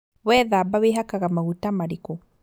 Wethamba wĩhakaga maguta marĩkũ